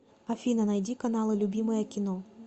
афина найди каналы любимое кино